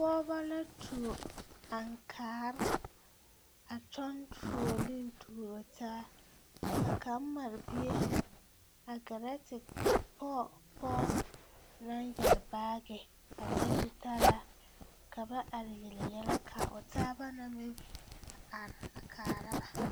Pɔɔbɔ la tuo aŋkaare a kyɔɡe fuoliŋ tuuro taa ka kaŋ mare bie a ɡɛrɛ te pɔɡe pɔɔ naŋ yɛre baaɡe a leŋ zutalaa ka ba are yele yɛlɛ ka a o taa na meŋ a are kaara ba.